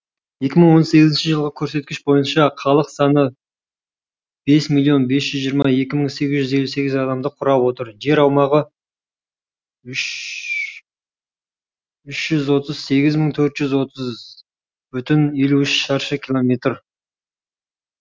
екі мың он сегізінші жылғы көрсеткіш бойынша халық саны бес миллион бес жүз жиырма екі мың сегіз жүз елу сегіз адамды құрап отыр жер аумағы үш жүз отыз сегіз мың төрт жүз отыз бүтін елу үш шаршы километр